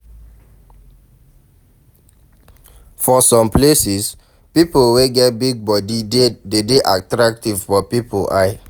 For some places, pipo wey get big body de dey attractive for pipo eye